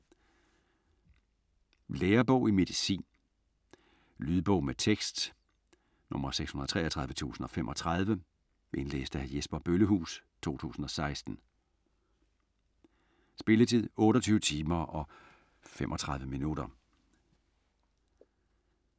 Lærebog i medicin Lydbog med tekst 633035 Indlæst af Jesper Bøllehuus, 2016. Spilletid: 28 timer, 35 minutter.